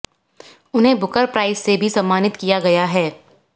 उन्हें Booker Prize से भी सम्मानित किया गया है